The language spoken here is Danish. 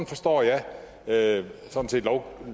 forstår jeg jeg